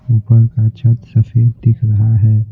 ऊपर का छत सफेद दिख रहा है।